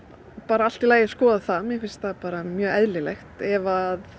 allt í lagi að skoða það mér finnst það bara mjög eðlilegt ef að